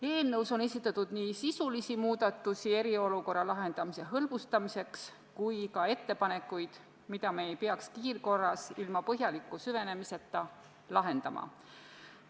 Eelnõus on esitatud nii sisulisi muudatusi eriolukorra lahendamise hõlbustamiseks kui ka tehtud ettepanekuid, mida me ei peaks kiirkorras ilma põhjaliku süvenemiseta lahendama.